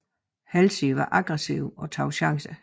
Halsey var aggressiv og tog chancer